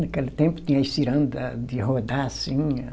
Naquele tempo tinha as ciranda de rodar, assim.